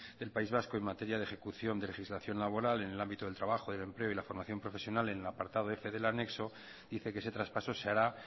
del país vasco en materia de ejecución de legislación laboral en el ámbito del trabajo del empleo y la formación profesional en el apartado f del anexo dice que ese traspaso se hará